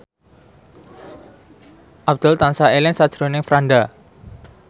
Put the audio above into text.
Abdul tansah eling sakjroning Franda